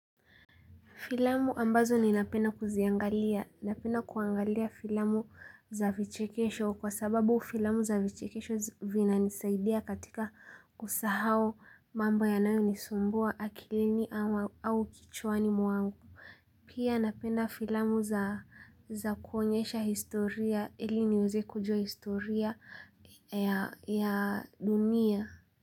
Filamu ambazo ninapenda kuziangalia, napenda kuangalia filamu za vichekesho kwa sababu filamu za vichekesho vinanisaidia katika kusahau mambo yanayo nisumbua akilini au kichwani mwangu. Pia napenda filamu za kuonyesha historia ili niweze kujua historia ya dunia.